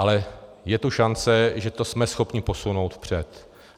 Ale je tu šance, že to jsme schopni posunout vpřed.